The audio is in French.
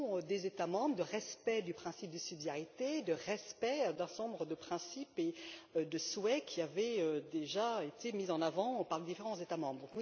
des États membres, de respect du principe de subsidiarité, de respect d'un certain nombre de principes et de souhaits qui avaient déjà été mis en avant par différents États membres.